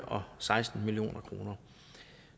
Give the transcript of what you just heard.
og seksten million kroner